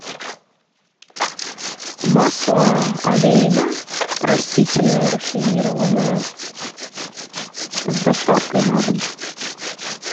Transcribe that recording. масло олейна растительное рафинированное с доставкой на дом